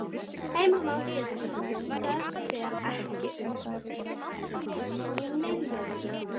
Heimir Már Pétursson: Það fer ekki upp í milljónina?